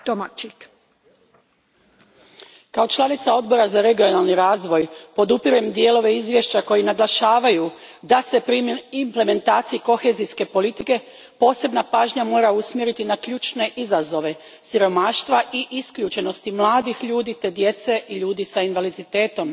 Gospođo predsjednice, kao članica Odbora za regionalni razvoj podupirem dijelove izvješća koji naglašavaju da se pri implementaciji kohezijske politike posebna pažnja mora usmjeriti na ključne izazove siromaštva i isključenosti mladih ljudi te djece i ljudi s invaliditetom.